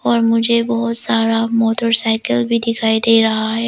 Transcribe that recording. और मुझे बहोत सारा मोटरसाइकिल भी दिखाई दे रहा है।